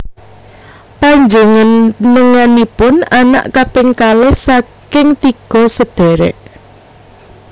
Panjénenganipun anak kaping kalih saking tiga sedhèrèk